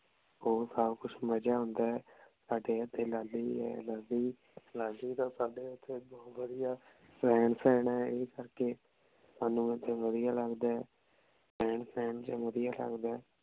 ਹੋਰ ਸਾਰਾ ਕੁਛ ਮਜ਼ਾ ਆਉਂਦਾ ਆਯ ਸਾਡੇ ਏਥੇ ਲਾਲੀ ਆਯ ਲਾਲੀ ਲਾਲੀ ਦਾ ਸਾਡੀ ਓਥੇ ਬੋਹਤ ਵਧੀਆ ਰਹਿਣ ਸਹਿਣ ਹੈ ਇਸ ਕਰਕੇ ਸਾਨੂ ਏਥੇ ਵਧੀਆ ਲਗਦਾ ਆਯ ਰਹਿਣ ਸਹਿਣ ਚ ਵਧੀਆ ਲਗਦਾ ਆਯ